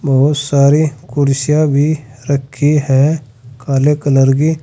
बहुत सारी कुर्सियां भी रखी है काले कलर की।